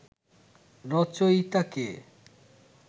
রচয়িতা কে